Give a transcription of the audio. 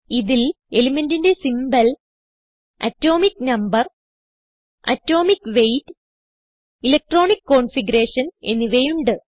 ഇതിൽ elementന്റെ symbol atomic number atomic weight electronic configuration എന്നിവയുണ്ട്